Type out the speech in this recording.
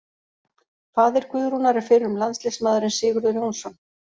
Faðir Guðrúnar er fyrrum landsliðsmaðurinn Sigurður Jónsson.